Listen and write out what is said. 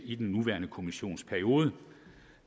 i den nuværende kommissions periode